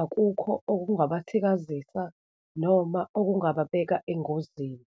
akukho okungabathikazisa noma okungababeka engozini.